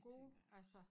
Gode altså